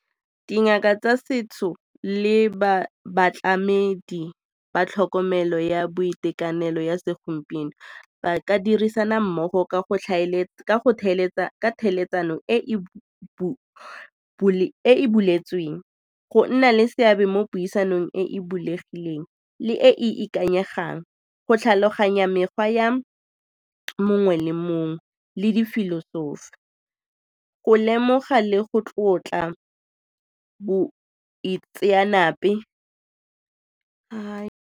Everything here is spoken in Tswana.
Dingaka tsa setso le batlamedi ba tlhokomelo ya boitekanelo ya segompieno ba ka dirisana mmogo ka tlhaeletsano e be e buletsweng, go nna le seabe mo puisanong e e bulegileng le e e ikanyegang go tlhaloganya mekgwa ya mongwe le mongwe le difilosofi, go lemoga le go tlotla boitseanape .